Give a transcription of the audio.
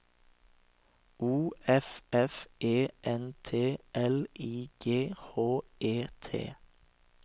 O F F E N T L I G H E T